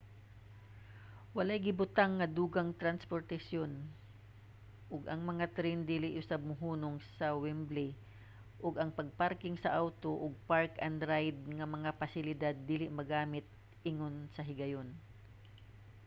walay gibutang nga dugang transportasyon ug ang mga tren dili usab mohunong sa wembley ug ang pagparking sa awto ug park-and-ride nga mga pasilidad dili magamit ingon sa higayon